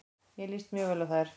Mér líst mjög vel á þær.